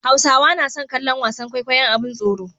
Hausawa nason kallon wasan kwaikwayon abin tsoro